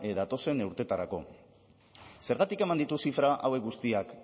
datozen urteetarako zergatik eman ditu zifra hauek guztiak